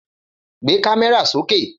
Gbé kámẹ́rà sókè